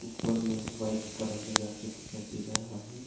ऊपर में white colour लगा के दिखाई दे रहा है।